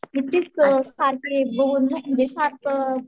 किती स सारखी दोन म्हणजे सार्क